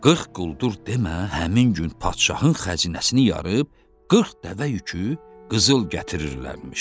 40 quldur demə, həmin gün padşahın xəzinəsini yarıb, 40 dəvə yükü qızıl gətirirlərmiş.